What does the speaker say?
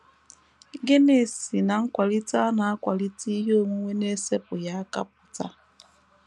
Gịnị si ná nkwalite a na - akwalite ihe onwunwe n’esepụghị aka apụta?